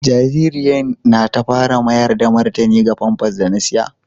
Jaririyan na ta fara mayar da martani ga pampas da na saƴa.